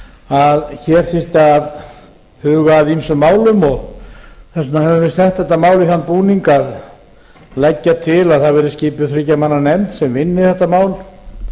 að hér þyrfti að huga að ýmsum málum og þess vegna höfum við sett þetta mál í þann búning að leggja til að það verði skipuð þriggja mann nefnd sem vinni þetta mál